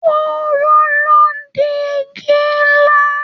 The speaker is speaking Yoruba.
Kooro ló n di igi nlá.